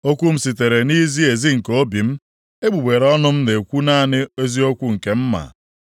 Okwu m sitere nʼizi ezi nke obi m; egbugbere ọnụ m na-ekwu naanị eziokwu nke m ma.